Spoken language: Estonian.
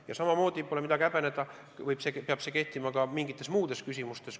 Ja samamoodi – pole midagi häbeneda – peab see kehtima ka teatud muudes küsimustes.